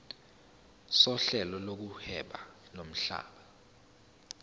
sohlelo lokuhweba lomhlaba